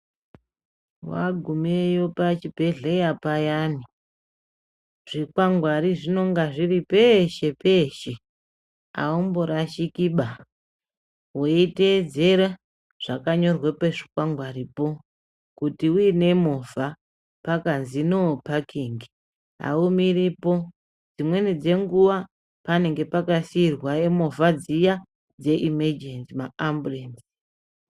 Wagumeyo pachibhehleya payani zvikwangwari zvinonga zviri peshe peshe aumborashikiba weiteedzera zvakanyorwe pazvikwangaripo. Kuti uine movha pakanzi apabvumirwi kupaka pano aumiripo, dzimweni dzenguwa panenge pakasiirwa movha dziya dzeimejenzi maamburenzi.